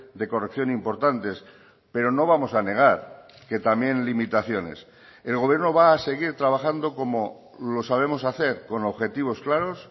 de corrección importantes pero no vamos a negar que también limitaciones el gobierno va a seguir trabajando como lo sabemos hacer con objetivos claros